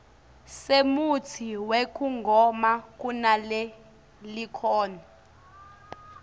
semutsi wekugoma kunalelikhono